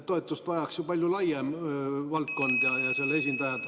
Toetust vajaks ju palju valdkondi ja nende esindajad.